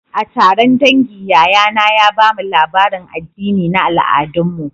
A taron dangi, yayana ya ba mu labarin addini na al'adunmu